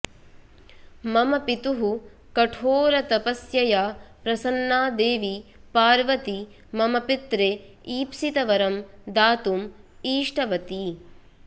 मम पितुः कठोरतपस्यया प्रसन्ना देवी पार्वती मम पित्रे ईप्सितवरं दातुम् ईष्टवती